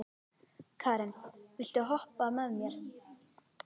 Keran, viltu hoppa með mér?